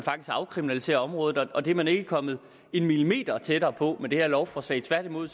afkriminalisere området og det er man ikke kommet en millimeter tættere på med det her lovforslag tværtimod